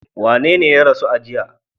Wanene ya rasu a jiya?